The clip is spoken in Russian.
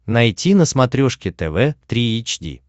найти на смотрешке тв три эйч ди